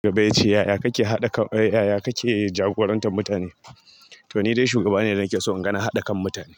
Na gaba ya ce yaya kake jagorantar mutane? To ni dai shugaba ne da nake son naga na haɗa kan mutane.